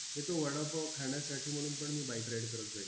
हे तो वडापाव खाण्यासाठी म्हणून पण मी bike ride करत जायचो.